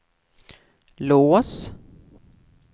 lås